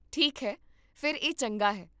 ਠੀਕ ਹੈ, ਫਿਰ ਇਹ ਚੰਗਾ ਹੈ